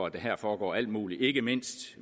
at der foregår alt muligt ikke mindst